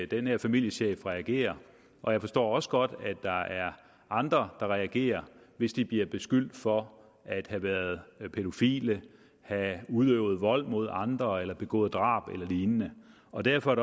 den her familiechef reagerer og jeg forstår også godt at der er andre der reagerer hvis de bliver beskyldt for at have været pædofile have udøvet vold mod andre eller begået drab eller lignende og derfor er